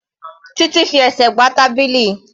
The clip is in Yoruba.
Títí fi ẹsẹ̀ gbá tábìlì.